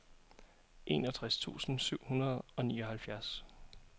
enogtres tusind syv hundrede og nioghalvfjerds